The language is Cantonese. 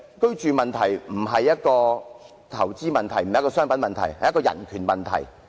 居住問題並非投資問題，也非商品問題，而是人權問題。